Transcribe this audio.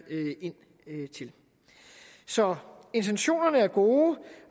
ind til så intentionerne er gode